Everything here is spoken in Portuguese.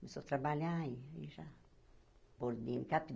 Começou a trabalhar e já... Pôr o dinheiro